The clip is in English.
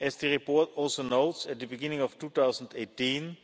As the report also notes, at the beginning of 2018